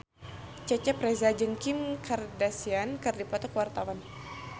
Cecep Reza jeung Kim Kardashian keur dipoto ku wartawan